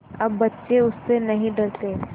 अब बच्चे उससे नहीं डरते